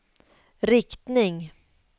riktning